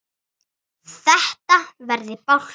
Þetta verði bálkur.